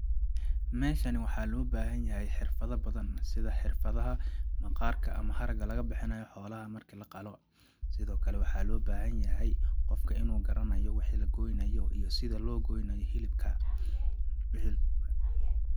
Meeshani waxaa loo baahan yahay xirfada badan ,sida xirfadaha maqaarka ama haraga laga bixinayo xoolaha marki la qalo ,sidoo kale waxaa loo baahan yahay qofka inuu garanayo wixi la goynayo iyo sida loo goynayo hilibka ,wixi...